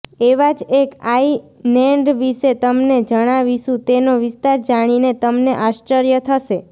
એવા જ એક આઇનેન્ડ વિશે તમને જણાવીશું તેનો વિસ્તાર જાણીને તમને આશ્ચર્ય થશે